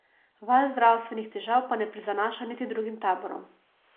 Val zdravstvenih težav pa ne prizanaša niti drugim taborom.